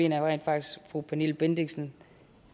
jeg rent faktisk fru pernille bendixen